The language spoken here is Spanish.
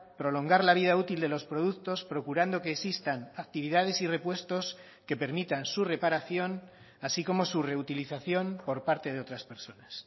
prolongar la vida útil de los productos procurando que existan actividades y repuestos que permitan su reparación así como su reutilización por parte de otras personas